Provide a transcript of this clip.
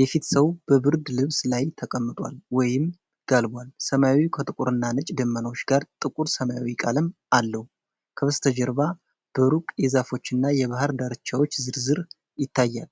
የፊት ሰው በብርድ ልብስ ላይ ተቀምጧል ወይም ጋልቧል። ሰማዩ ከጥቁርና ነጭ ደመናዎች ጋር ጥቁር ሰማያዊ ቀለም አለው። ከበስተጀርባ በሩቅ የዛፎችና የባህር ዳርቻው ዝርዝር ይታያል።